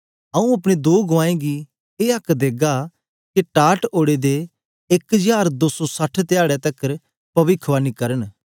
आऊँ अपने दो गुआऐं गी ए आक्क देगा के टाट ओड़े दे एक हजार दो सौ सठ धयारे तकर पविखवाणी करन